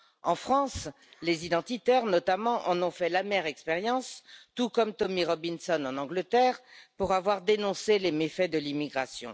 En France, les identitaires notamment en ont fait l'amère expérience, tout comme Tommy Robinson en Angleterre, pour avoir dénoncé les méfaits de l'immigration.